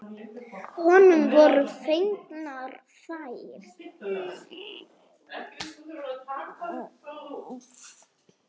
Honum voru fengnar þær.